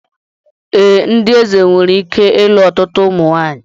Ee, ndị eze nwere ike ịlụ ọtụtụ ụmụ nwanyị